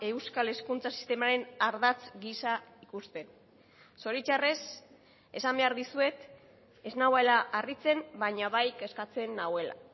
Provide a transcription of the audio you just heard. euskal hezkuntza sistemaren ardatz gisa ikusten zoritxarrez esan behar dizuet ez nagoela harritzen baina bai kezkatzen nauela